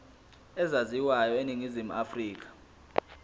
ezaziwayo eningizimu afrika